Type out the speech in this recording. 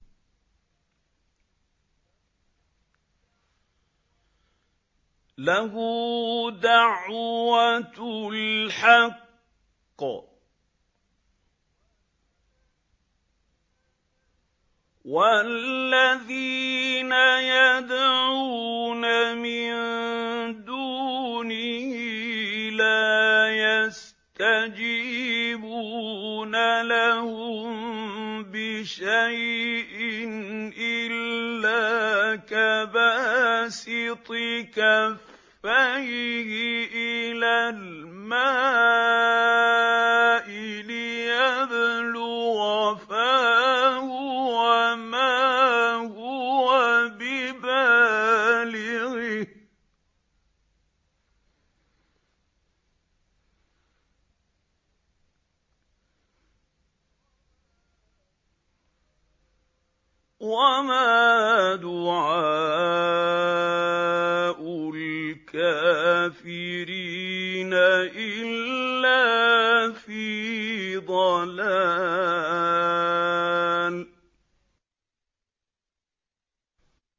لَهُ دَعْوَةُ الْحَقِّ ۖ وَالَّذِينَ يَدْعُونَ مِن دُونِهِ لَا يَسْتَجِيبُونَ لَهُم بِشَيْءٍ إِلَّا كَبَاسِطِ كَفَّيْهِ إِلَى الْمَاءِ لِيَبْلُغَ فَاهُ وَمَا هُوَ بِبَالِغِهِ ۚ وَمَا دُعَاءُ الْكَافِرِينَ إِلَّا فِي ضَلَالٍ